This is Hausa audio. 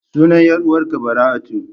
Sunan 'yar uwar ka Bara'atu.